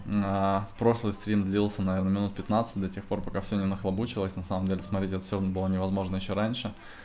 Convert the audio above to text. на прошлой стрим длился наверное минут пятнадцать до тех пор пока всё нахлобучило на самом деле смотреть это всё было невозможно ещё раньше